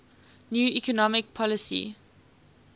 new economic policy